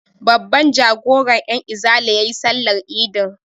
Babban jagoran 'yanizala ya yi sallar idin.